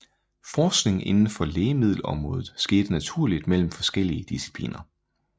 Forskning inden for lægemiddelområdet skete naturligt mellem forskellige discipliner